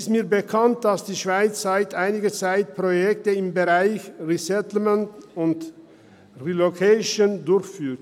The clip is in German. Die Schweiz führt seit einiger Zeit Projekte im Bereich Resettlement und Relocation durch.